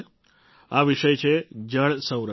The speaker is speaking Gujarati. આ વિષય છે જળ સંરક્ષણનો